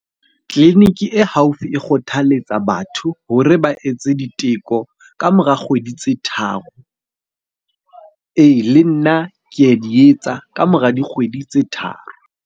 Tleliniki e haufi e kgothaletsa batho hore ba etse diteko ka mora kgwedi tse tharo. Ee, le nna ke a di etsa ka mora dikgwedi tse tharo.